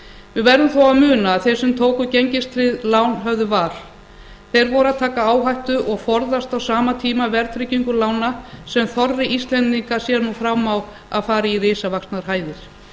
við verðum þó að muna að þeir sem tóku gengistryggð lán höfðu var þeir voru að taka áhættu og forðast á sama tíma verðtryggingu lána sem þorri íslendinga sér nú fram á að fari í risavaxnar hæðir